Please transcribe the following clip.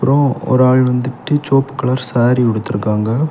ஒ ஒரு ஆள் வந்துட்டு சிவப்பு கலர் சாரி உடுத்துருக்காங்க.